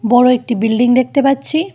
বড় একটি বিল্ডিং দেখতে পাচ্ছি।